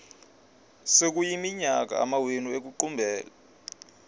sekuyiminyaka amawenu ekuqumbele